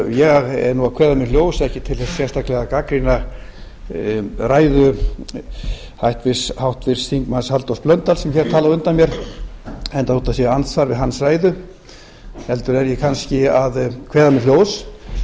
ég er að kveða mér hljóðs ekki sérstaklega til að gagnrýna ræðu háttvirts þingmanns halldórs blöndal sem hér talaði á undan mér enda þó það sé andsvar við hans ræðu heldur er ég kannski að kveða mér hljóðs